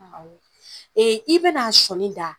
Awɔ i bɛn'a sɔni da